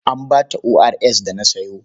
An ba ta ORS da na sayo?